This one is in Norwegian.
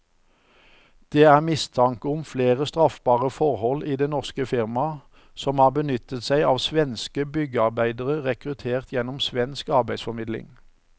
Det er mistanke om flere straffbare forhold i det norske firmaet, som har benyttet seg av svenske byggearbeidere rekruttert gjennom svensk arbeidsformidling.